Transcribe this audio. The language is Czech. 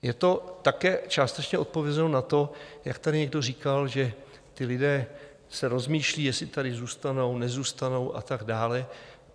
Je to také částečně odpovězeno na to, jak tady někdo říkal, že ti lidé se rozmýšlí, jestli tady zůstanou, nezůstanou a tak dále.